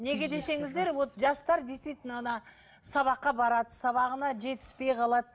неге десеңіздер вот жастар действительно ана сабаққа барады сабағына жетіспей қалады